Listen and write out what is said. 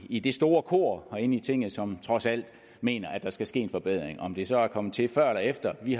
i det store kor herinde i tinget som trods alt mener at der skal ske en forbedring om det så er kommet til før eller efter vi